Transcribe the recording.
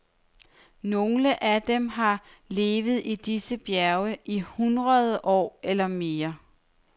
Nogle af dem har levet i disse bjerge i hundrede år eller mere.